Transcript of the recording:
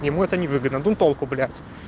ему это невыгодно ну толку блядь